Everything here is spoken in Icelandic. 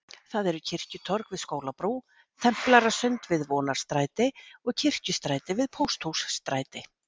Þetta eru Kirkjutorg við Skólabrú, Templarasund við Vonarstræti og Kirkjustræti við Pósthússtræti.